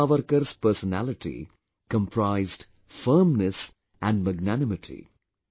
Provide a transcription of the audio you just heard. Veer Savarkar's personality comprised firmness and magnanimity